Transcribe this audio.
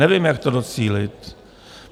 Nevím, jak to docílit.